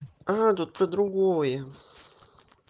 тут про другое